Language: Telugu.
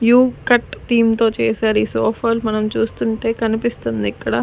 యు కట్ థీమ్ తో చేశారు ఈ సోఫాలు మనం చూస్తుంటే కనిపిస్తుందిక్కడ.